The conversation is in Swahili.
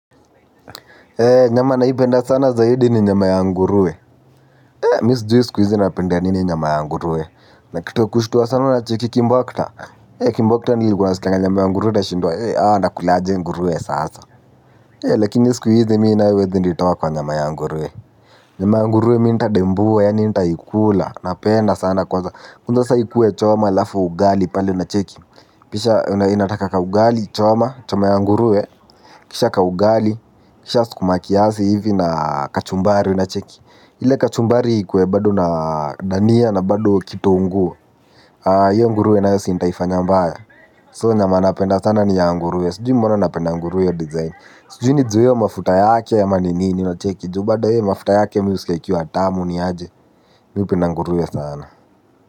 Nyama naipenda sana zaidi ni nyama ya nguruwe. Ee mi sijui siku izi napendea nini nyama ya nguruwe, na kitu ya kushtuwa sana unacheki kimbokta ee kimbokta ni unasikianga nyama ya nguruwe unashindwa ee hawa wanakulaje nguruwe sasa ee lakini siku hizi mi nayo huwezi nitoa kwa nyama ya nguruwe. Nyama ya nguruwe mi nitadembua yaani nitaikula, napenda sana kwanza, kwanza saa hii ikuwe choma halafu ugali pale unacheki, pisha inataka ka ugali choma, choma ya nguruwe. Kisha kaugali, kisha skuma kiasi hivi na kachumbari unacheki? Ile kachumbari ikuwe bado na dania na bado kitunguu. Hiyo nguruwe nayo si ntaifanya mbaya. So nyama napenda sana ni ya nguruwe. Sijui mbona napenda nguruwe hiyo design. Sujui ni juu ya hiyo mafuta yake ama ni nini, unacheki? Juu bado hiyo mafuta yake mi husikia ikiwa tamu ni aje. Mi hupenda nguruwe sana.